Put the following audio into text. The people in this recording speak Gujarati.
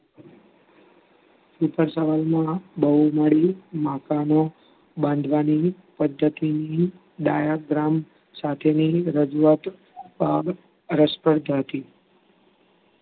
ટૂંક જ સમયમાં બહુમાળી મકાનો બાંધવાની પદ્ધતિ diagram સાથેની રજૂઆત પણ રસવાર્ધક હતી.